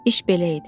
İş belə idi.